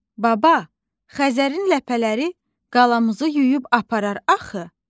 Baba, Xəzərin ləpələri qalamızı yuyub aparar axı?